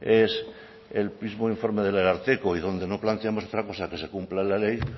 es el mismo informe del ararteko y donde no planteamos otra cosa que se cumpla la ley